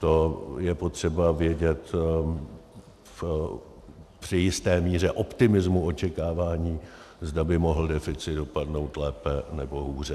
To je potřeba vědět při jisté míře optimismu očekávání, zda by mohl deficit dopadnout lépe, nebo hůře.